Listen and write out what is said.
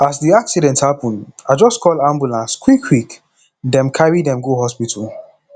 as di accident happen i just call ambulance quickquick dem carry dem go hospital